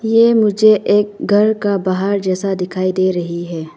ये मुझे एक घर का बाहर जैसा दिखाई दे रही है।